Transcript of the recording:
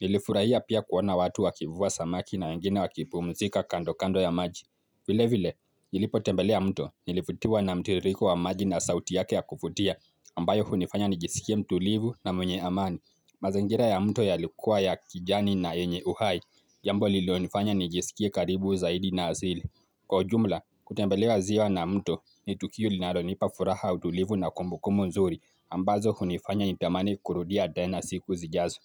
Nilifurahia pia kuona watu wakivua samaki na wengine wakipumzika kando kando ya maji. Vile vile, nilipotembelea mto. Nilivutiwa na mtiririko wa maji na sauti yake ya kuvutia. Ambayo hunifanya nijisikie mtulivu na mwenye amani. Mazingira ya mto yalikuwa ya kijani na yenye uhai Jambo lililonifanya nijisikie karibu zaidi na asili Kwa ujumla, kutembelea ziwa na mto ni tukio linalonipa furaha utulivu na kumbukumbu nzuri ambazo hunifanya nitamani kurudia tena siku zijazo.